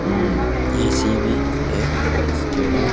AC भी है और इसके बाद--